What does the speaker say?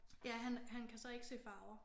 Ja han han kan så ikke se farver